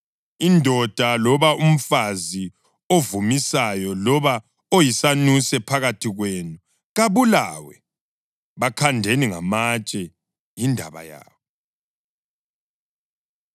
Indoda loba umfazi ovumisayo loba oyisanuse phakathi kwenu, kabulawe. Bakhandeni ngamatshe. Yindaba yabo.’ ”